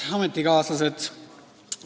Head ametikaaslased!